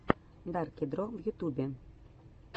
дарки дро в ютубе